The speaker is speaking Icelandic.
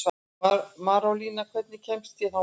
Marólína, hvernig kemst ég þangað?